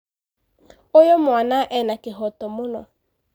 Ũyũ mwana ena kĩhoto mũno.